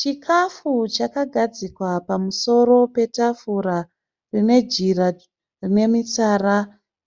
Chikafu chakagadzikwa pamusoro petafura rine jira rine mitsara